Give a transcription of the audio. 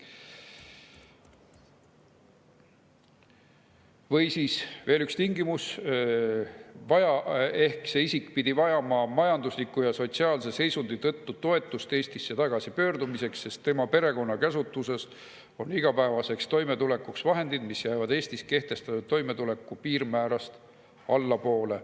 Või siis veel üks tingimus: see isik peab vajama majandusliku ja sotsiaalse seisundi tõttu toetust Eestisse tagasipöördumiseks, sest tema perekonna käsutuses on igapäevaseks toimetulekuks vahendid, mis jäävad Eestis kehtestatud toimetuleku piirmäärast allapoole.